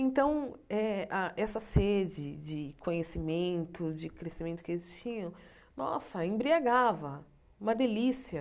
Então, eh a essa sede de conhecimento, de crescimento que eles tinham, nossa, embriagava, uma delícia.